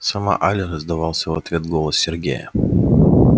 сама аля раздался в ответ голос сергея